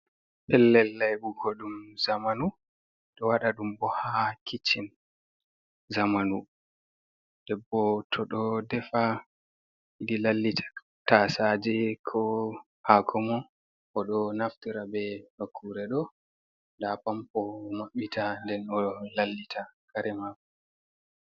Pellel laibugo dum zamanu do wada dum bo ha kiccin zamanu, debbo to do defa den lallita tasaje ko hako mum do naftira be nokkure da pampo mabbita nden o lallita karemako.